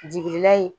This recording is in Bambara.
Jigila in